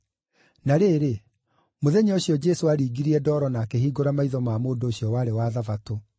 Na rĩrĩ, mũthenya ũcio Jesũ aaringirie ndoro na akĩhingũra maitho ma mũndũ ũcio warĩ wa Thabatũ.